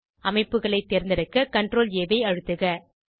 அமைப்புகளை தேர்ந்தெடுக்க ctrlஆ ஐ அழுத்துக